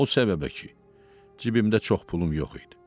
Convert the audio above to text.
O səbəbə ki, cibimdə çox pulum yox idi.